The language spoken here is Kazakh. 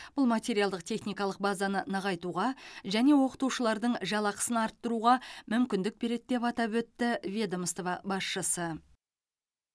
бұл материалдық техникалық базаны нығайтуға және оқытушылардың жалақысын арттыруға мүмкіндік береді деп атап өтті ведомство басшысы